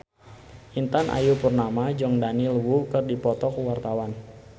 Intan Ayu Purnama jeung Daniel Wu keur dipoto ku wartawan